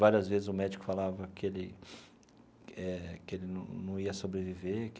Várias vezes o médico falava que ele eh que ele não não ia sobreviver.